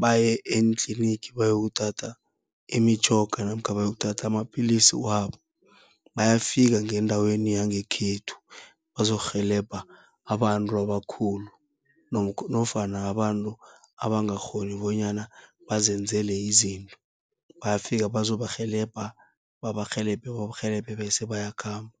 baye entlinigi, bayokuthatha imitjhoga namkha bayokuthatha amapilisi wabo. Bayafika ngendaweni yangekhethu bazokurhelebha abantu abakhulu, nofana abantu abangakghoni bonyana bazenzele izinto, bayafika bazokubarhelebha babarhelebhe, babarhelebhe bese bayakhamba.